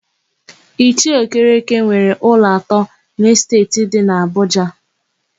Ichie Okereke nwere ụlọ atọ n'Esteeti dị n'Abụja.